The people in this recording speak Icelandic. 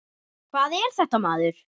Hvað er þetta, maður?